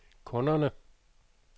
kunderne